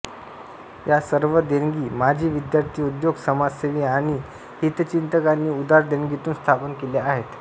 या सर्व देणगी माजी विद्यार्थी उद्योग समाजसेवी आणि हितचिंतकांनी उदार देणगीतून स्थापन केल्या आहेत